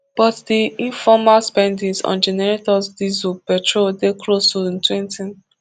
but di informal spendings on generators diesel petrol dey close to ntwentytn